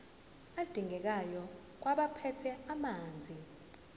adingekayo kwabaphethe ezamanzi